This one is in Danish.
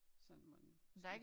Sådan man måske